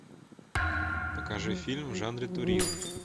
покажи фильм в жанре туризм